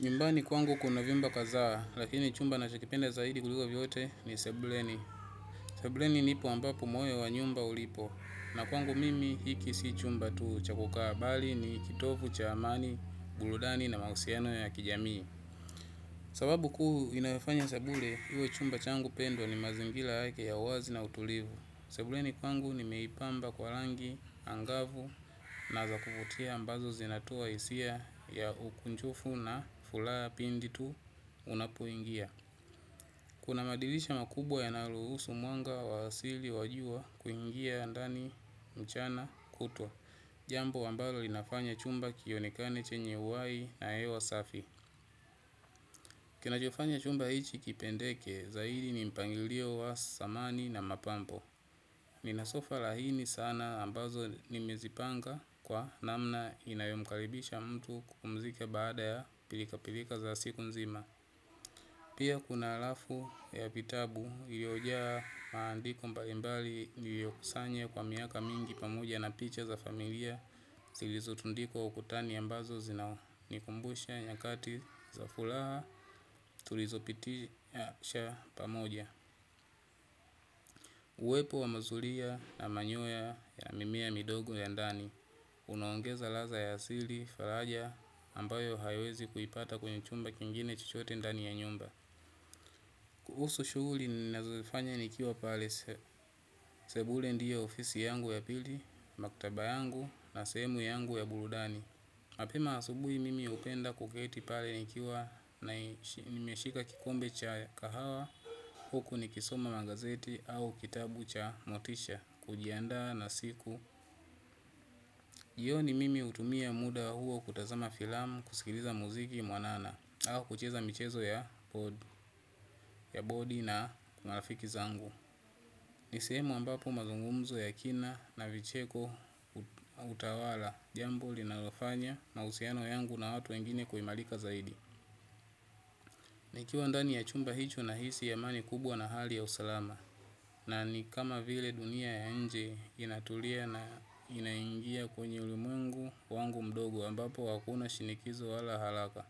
Nyumbani kwangu kuna vyumba kazaa, lakini chumba nachokipenda zaidi kuliko vyote ni sebuleni. Sebuleni nipo ambapo moyo wa nyumba ulipo, na kwangu mimi hiki si chumba tu cha kukaa, bali ni kitovu cha amani, buludani na mahusiano ya kijamii. Sababu kuu inayofanya sebule, iwe chumba changu pendwa, ni mazingila yake ya uwazi na utulivu. Sebuleni pangu nimeipamba kwa langi angavu na za kuvutia ambazo zinatua isia ya ukunjufu na fulaha pindi tu, unapoingia. Kuna madilisha makubwa yanayoluhusu mwanga wa asili wa jua, kuingia ndani, mchana, kutwa. Jambo ambalo linafanya chumba kionekane chenye uai na ewa safi. Kinachofanya chumba hichi kipendeke, zaidi, ni mpangilio wa samani na mapambo. Nina sofa lahini sana ambazo nimezipanga kwa namna inayomkaribisha mtu kupumzika baada ya pilika pilika za siku nzima. Pia kuna alafu ya vitabu, iliojaa maandiko mbalimbali niliokusanya kwa miaka mingi pamoja na picha za familia zilizotundikwa ukutani ambazo zinanikumbusha nyakati za fulaha tulizopitisha pamoja. Uwepo wa mazulia na manyoya ya mimea midogo ya ndani, unaongeza laza ya sili, falaja, ambayo hayawezi kuipata kwenye chumba kingine chochote ndani ya nyumba. Kuhusu shuguli ninazozifanya nikiwa pale, sebule ndio ofisi yangu ya pili, maktaba yangu na sehemu yangu ya burudani. Mapema asubui mimi upenda kuketi pale nikiwa ''nai'' imeshika kikombe cha kahawa. Huku nikisoma gazeti au kitabu cha motisha kujiandaa na siku. Jioni, mimi utumia muda huo kutazama filam, kusikiliza muziki mwanana, au kucheza michezo ya bodi na marafiki zangu. Nisehemu ambapo mazungumzo ya kina na vicheko hutawala, jambo linalofanya mausiano yangu na watu wengine kuimalika zaidi. Nikiwa ndani ya chumba hicho nahisi amani kubwa na hali ya usalama na nikama vile dunia ya inje inatulia na inaingia kwenye ulimwengu wangu mdogo ambapo hakuna shinikizo wala halaka.